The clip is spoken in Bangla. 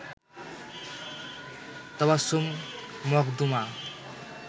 তাবাস্সুম মখদুমা